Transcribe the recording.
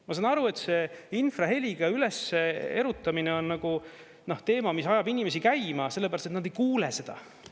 Ma saan aru, et see infraheliga ülesse erutamine on nagu teema, mis ajab inimesi käima, sellepärast et nad ei kuule seda.